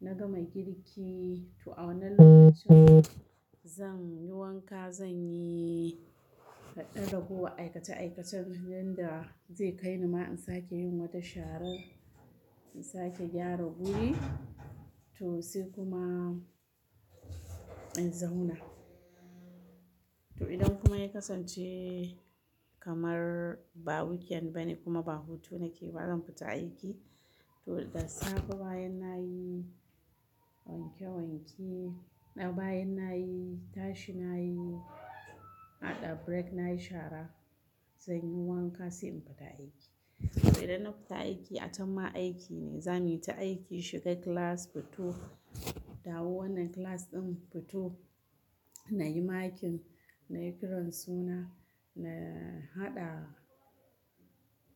na gama girki to a wannan lokacin zan yi wanka, zan yi haɗa da guguwa aikace aikacen danda zai kai ni ma in sake yin wata sharan, in sake gyara guri to sai kuma in zauna. To idan kuma ya kasance kamar ba weekend bane kuma ba hutu nake ba zan fita aiki. To da safe bayan nayi wanke wanke, bayan nayi tashi nayi haɗa break nayi shara, zan yi wanka sai in fita aiki. Idan na fita aiki, acenma aiki ne. Zamuyi ta aiki shiga class, fito, dawo wannan class ɗin fito, na yi makin, na yi kiran suna, na haɗa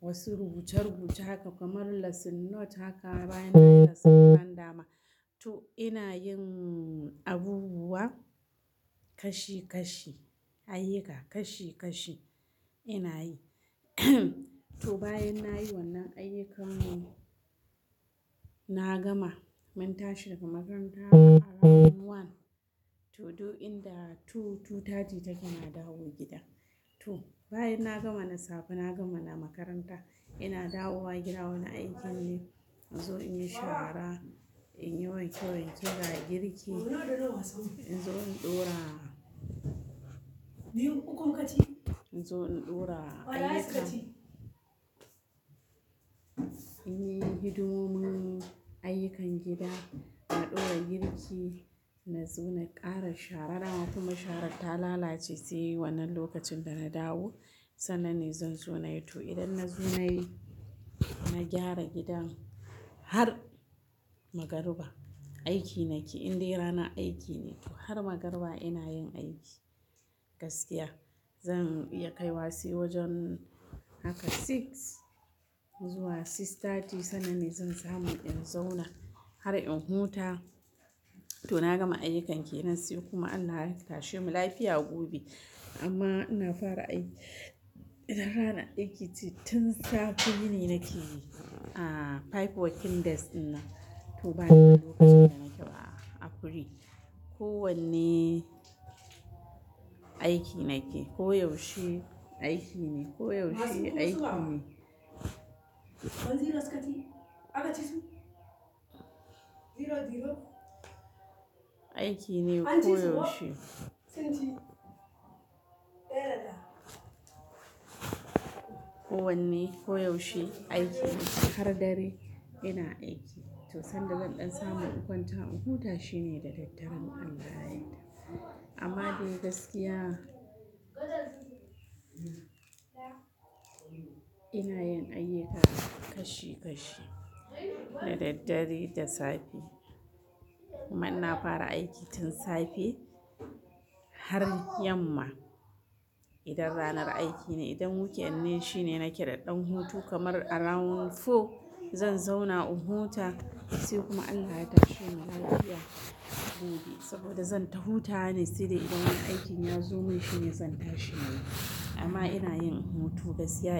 wasu rubuce rubuce haka kamar lesson note haka bayan nayi lesson nan dama. To ina yin abubuwa kashi kashi, ayyuka kashi kashi ina yi. To bayan nayi wannan ayyukan, na gama mun tashi daga makaranta around one to two, two thirty take na dawo gida. To bayan na gama na safe na gama na makaranta, ina dawowa gida wani aikin ne. In zo in yi shara, in yi wanke wanke ga girki, in zo in ɗora, in zo in ɗora ayyuka. In yi hidimomin ayyukan gida, na ɗora girki, na zo na ƙara shara dama kuma sharan ta lalace sai wannan lokacin da na dawo. Sannan ne zan zo nayi. To idan na zo nayi, na gyara gidan har magariba aiki nake. Inde ranar aiki ne. To har magariba ina yin aiki gaskiya. Zan iya kaiwa sai wajen haka six zuwa six thirty sannan ne zan samu inɗan zauna har in huta. To na gama ayyukanke nan sai kuma Allah ya tashe mu lafiya gobe. Amma ina fara aiki idan ranar aiki ce tun safe yi ni nake yi. A five working days ina. To bayan lokacin da nake ba a free. Ko wanne aiki nake. Ko yaushe aiki ne. Ko yaushe aiki ne. Aiki ne koyaushe. Ko wanne koyaushe aiki ne har dare ina aiki. To sanda zan ɗan samu in kwanta in huta shine da daddare inAllahyayarda. Amma dai gaskiya ina yin ayyuka kashi kashi na daddare da safe. Amma ina fara aiki tun safe har yamma idan ranar aiki ne. Idan weekend ne shine nake da ɗan hutu kamar around four zan zauna in huta sai kuma Allah ya tashe mu lafiya gobe. Saboda zan ta hutawa ne sai dai idan wani aikin ya zo mun shine zan tashi na yi. Amma ina yin hutu gaskiya yake.